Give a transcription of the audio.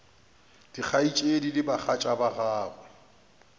dikgaetšedi le bagatša ba gagwe